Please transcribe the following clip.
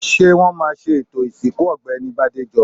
Ṣé wọ́n ma ṣe ètò ìsìnkú Ọ̀gbẹ́ni Bádéjọ?